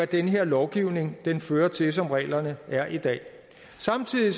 den her lovgivning fører til som reglerne er i dag samtidig